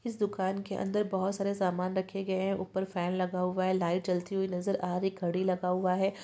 इस दुकान के अंदर बहोत सारे सामान रखे गये हैं ऊपर फेन लगा हुआ है लाईट जलती हुई नजर आ रही है घड़ी लगा हुआ है।